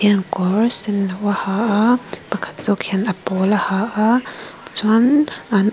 kawr senno a ha pakhat zawk hian a pawl a ha a chuan an--